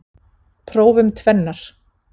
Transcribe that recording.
Prófum tvennar.